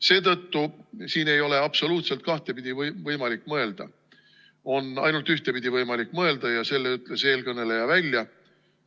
Seetõttu siin ei ole absoluutselt võimalik kahtepidi mõelda, on võimalik mõelda ainult ühtepidi – ja selle ütles eelkõneleja välja.